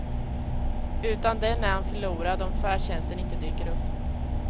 Utan den är han förlorad om färdtjänsten inte dyker upp.